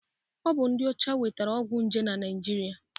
Ọ bụ ndị ọcha webatara ọgwụ nje na Naịjirịa.